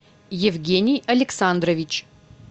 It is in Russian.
евгений александрович